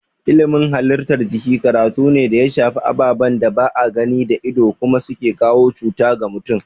Ilimin halittar jiki karatu ne da ya shafi ababen da ba a gani da ido kuma su ke kawo cuta ga mutum.